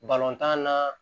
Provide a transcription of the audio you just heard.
Balontan na